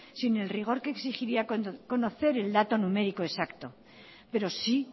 sin el rigor que exigiría conocer el dato numérico exacto pero sí